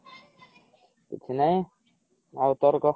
କିଛି ନାଇଁ ଆଉ ତୋର କହ